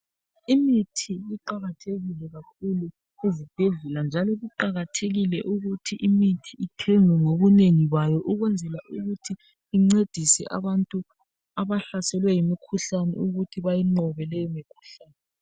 Imithi iqakathekile kakhulu ezibhedlela njalo kuqakathekile ukuthi imithi ithengwe ngobunengi bayo ukwenzela ukuthi incedise abantu abahlaselwe yimikhuhlane ukuthi bayinqobe leyo mikhuhlane.